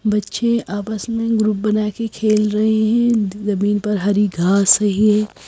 बच्चे आपस में ग्रुप बना के खेल रहे हैं जमीन पर हरी घास रही है।